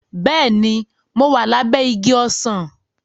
Bẹ́ẹ̀ni, mo wà lábẹ́ igi ọsàn